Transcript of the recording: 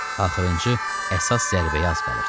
Axırıncı əsas zərbəyə az qalırdı.